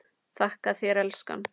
Þakka þér elskan.